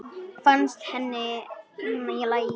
Fannst henni hún í lagi?